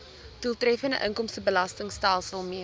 doeltreffende inkomstebelastingstelsel mee